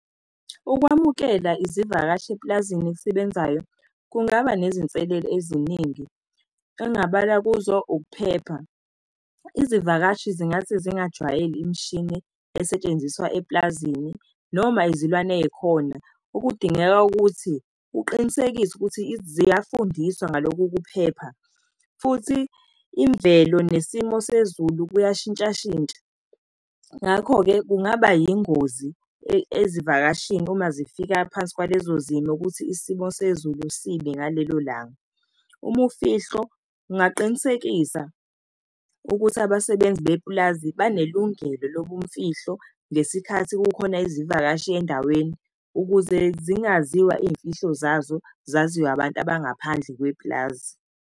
Ukwamukela izivakashi epulazini elisebenzayo, kungaba nezinselelo eziningi, kengabala kuzo, ukuphepha. Izivakashi zingathi zingajwayele imishini esetshenziswa eplazini, noma izilwane ey'khona, okudingeka ukuthi uqinisekise ukuthi ziyafundiswa ngaloku ukuphepha. Futhi imvelo nesimo sezulu kuyashintshashintsha. Ngakho-ke kungaba yingozi ezivakashini, uma zifika phansi kwalezo zimo ukuthi isimo sezulu sibi ngalelo langa. Umufihlo kungaqinisekisa ukuthi abasebenzi bepulazi banelungelo lobumfihlo ngesikhathi kukhona izivakashi endaweni, ukuze zingaziwa iy'mfihlo zazo, zaziwa abantu abangaphandle kwepulazi.